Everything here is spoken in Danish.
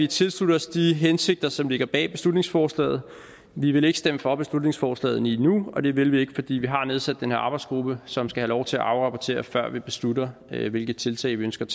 tilslutte os de hensigter som ligger bag beslutningsforslaget vi vil ikke stemme for beslutningsforslaget lige nu og det vil vi ikke fordi vi har nedsat den arbejdsgruppe som skal have lov til at afrapportere før vi beslutter hvilke tiltag vi ønsker at